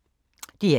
DR1